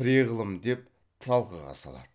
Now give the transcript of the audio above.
пре ғылым деп талқыға салады